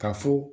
Ka fɔ